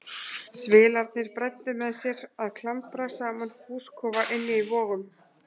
Svilarnir bræddu með sér að klambra saman húskofa inni í Vogum.